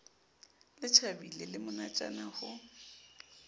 le tjhabile le monatjana ho